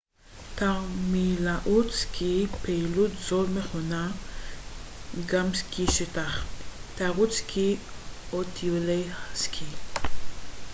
תרמילאות סקי פעילות זאת מכונה גם סקי שטח תיירות סקי או טיולי סקי